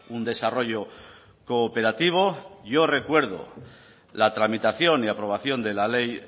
un desarrollo cooperativo yo recuerdo la tramitación y aprobación de la ley